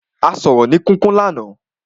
A sọ̀rọ̀ ni kíkún ní àná.